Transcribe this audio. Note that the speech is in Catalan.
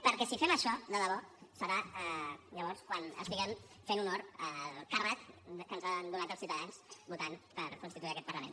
perquè si fem això de debò serà llavors quan estiguem fent honor al càrrec que ens han donat els ciutadans votant per constituir aquest parlament